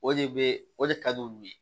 O de bɛ o de ka di olu ye